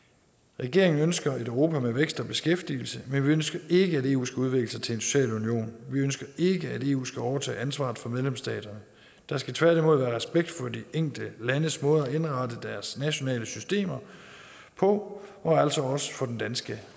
regeringen ønsker et europa med vækst og beskæftigelse men vi ønsker ikke at eu skal udvikle sig til en social union vi ønsker ikke at eu skal overtage ansvaret for medlemsstaterne der skal tværtimod være respekt for de enkelte landes måde at indrette deres nationale systemer på og altså også for den danske